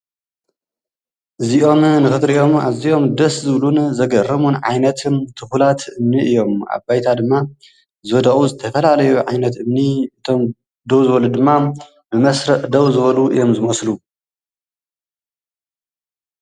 እዚኦም ንክትሪኦም ኣዝዮም ደስ ዝብሉን ዘገርሙን ዓይነትን ትኩላት እምኒ እዮም። ኣብ ባይታ ድማ ዝወደቁን ዝተፈላለዩ ዓይነት እምኒ እቶም ደው ዝበሉ ድማ ብመስርዕ ደው ዝበሉ እዮም ዝመስሉ።